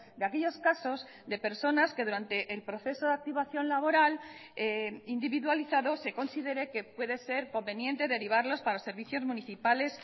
de aquellos casos de personas que durante el proceso de activación laboral individualizado se considere que puede ser conveniente derivarlos para servicios municipales